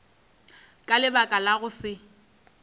ka lebaka la go se